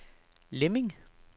Lemming